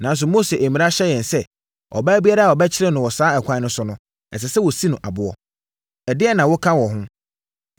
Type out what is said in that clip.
nanso Mose mmara hyɛ yɛn sɛ, ɔbaa biara a wɔbɛkyere no saa ɛkwan no so no, ɛsɛ sɛ wɔsi no aboɔ. Ɛdeɛn na woka wɔ ho?”